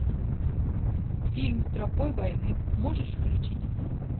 фильм тропой войны можешь включить